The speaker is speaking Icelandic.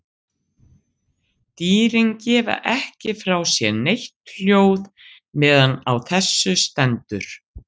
Dýrin gefa ekki frá sér neitt hljóð meðan á þessu stendur.